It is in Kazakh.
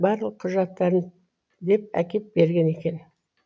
барлық құжаттарын деп әкеп берген екен